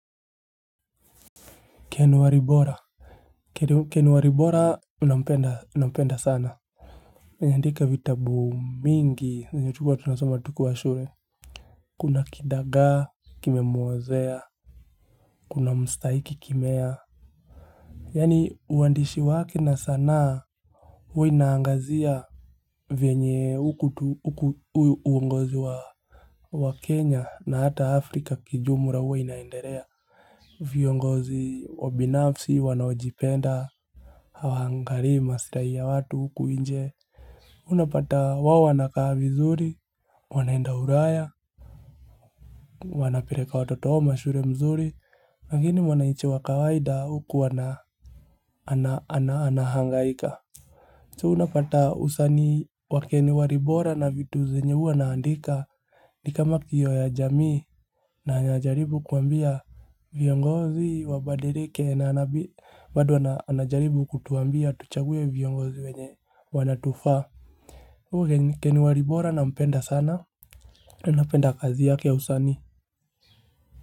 Ken waribora nampenda sana ameandika vitabu mingi zenye tulikuwa tunasoma tukiwa shure Kuna kidagaa kimemuozea Kuna mstaiki kimea Yani uandishi wake na sanaa huwa inaangazia vyenye uungozi wa Kenya na hata Afrika kijumura uwa inaenderea viongozi wabinafsi wanaojipenda Hawaangarii masirai ya watu huku inje Unapata wao wanakaa vizuri wanaenda uraya Wanapereka watoto wao mashure mzuri lakini wanaiche wa kawaida huku anahangaika So unapata usanii wa ken waribora na vitu zenye huwa anaandika Nikama kioo ya jamii na anajaribu kuambia viongozi wabadirike na bado anajaribu kutuambia tuchaguwe viongozi wenye wanatufaa kwa ivo ken waribora nampenda sana na napenda kazi yake usani.